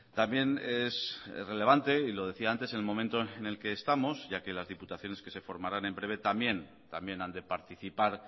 también es relevante y lo decía antes en el momento en el que estamos ya que las diputaciones que se formarán en breve también han de participar